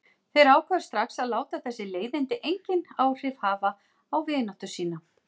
Þeir ákváðu strax að láta þessi leiðindi engin áhrif hafa á vináttu sína.